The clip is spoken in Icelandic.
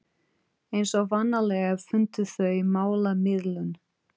Eins og vanalega fundu þau málamiðlun.